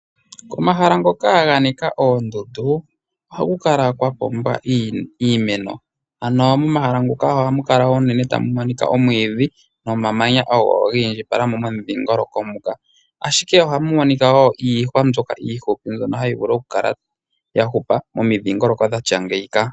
Omahala ngoka ganika oondundu ohaku kala kwapumba iimeno ano momahala ngoka ohamu kala tamu monika omwidhi nomamanya ogo gi indjipala momidhingoloko muka, ashike oha mu monika wo iihwa mbyoka iihupi mbyono hayi vulu oku kala ya hupa momidhingoloko dhatya ngeyika.